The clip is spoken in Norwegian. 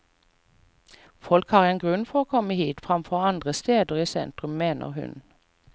Folk har en grunn for å komme hit fremfor andre steder i sentrum, mener hun.